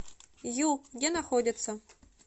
ю где находится